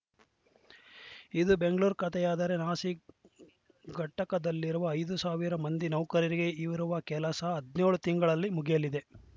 ಇದು ಬೆಂಗಳೂರು ಕತೆಯಾದರೆ ನಾಸಿಕ್‌ ಘಟಕದಲ್ಲಿರುವ ಐದು ಸಾವಿರ ಮಂದಿ ನೌಕರರಿಗೆ ಇರುವ ಕೆಲಸ ಹದಿನೇಳು ತಿಂಗಳಲ್ಲಿ ಮುಗಿಯಲಿದೆ